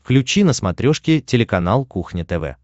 включи на смотрешке телеканал кухня тв